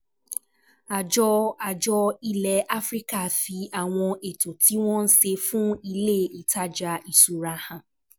Àjọ Àjọ ilẹ̀ Áfíríkà fi àwọn ètò tí wọ́n ṣe fún ilé-ìtajà ìṣura hàn